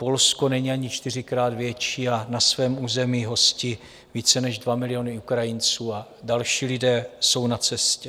Polsko není ani čtyřikrát větší a na svém území hostí více než 2 miliony Ukrajinců a další lidé jsou na cestě.